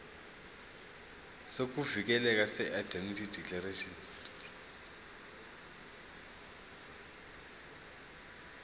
sokuvikeleka seindemnity declaration